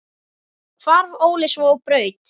Hvarf Óli svo á braut.